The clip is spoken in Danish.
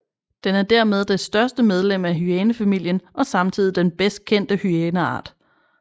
Den er dermed det største medlem af hyænefamilien og samtidig den bedst kendte hyæneart